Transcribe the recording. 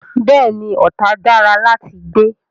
Bẹ́ẹ̀ ni, Ọ̀tà dára láti gbé.